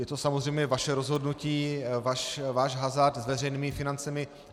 Je to samozřejmě vaše rozhodnutí, váš hazard s veřejnými financemi.